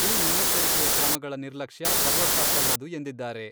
ಈ ಮುನ್ನೆಚ್ಚರಿಕೆಯ ಕ್ರಮಗಳ ನಿರ್ಲಕ್ಷ್ಯ ಸರ್ವಥಾ ಸಲ್ಲದು ಎಂದಿದ್ದಾರೆ.